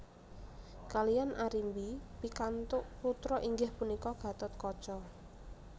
Kaliyan Arimbi pikantuk putra inggih punika Gatotkaca